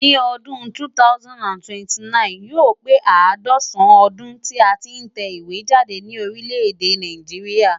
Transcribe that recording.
Ní ọdún 2029,yóò pé àádọ́sàn-án ọdún tí a tí ń tẹ ìwé jáde ní orílẹ̀ èdè Nàìjíríà.